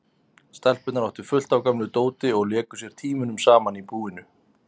Stelpurnar áttu fullt af gömlu dóti og léku sér tímunum saman í búinu.